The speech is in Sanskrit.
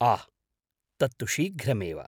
आह्, तत्तु शीघ्रमेव।